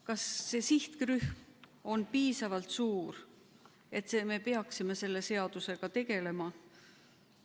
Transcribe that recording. Kas see sihtrühm on piisavalt suur, et me peaksime selle seadusega tegelema?